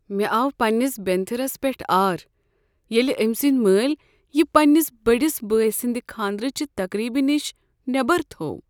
مےٚ آو پنٛنس بینتھٕرس پٮ۪ٹھ آر ییٚلہ أمۍ سٕنٛدۍ مٲلۍ یہ پنٛنس بٔڑس بٲے سٕنٛدِ خانٛدرٕچہ تقریبہ نِش نیبر تھوٚو۔